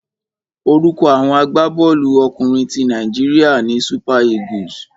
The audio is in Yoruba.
Orúkọ àwọn agbábọ́ọ̀lú ọkùnrin ti Nàíjíríà ni Super Eagles.